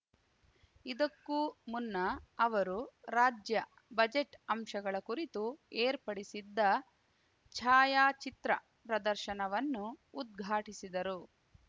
ಇದಕ್ಕೂ ಮುನ್ನ ಅವರು ರಾಜ್ಯ ಬಜೆಟ್ ಅಂಶಗಳ ಕುರಿತು ಏರ್ಪಡಿಸಿದ್ದ ಛಾಯಾಚಿತ್ರ ಪ್ರದರ್ಶನವನ್ನು ಉದ್ಘಾಟಿಸಿದರು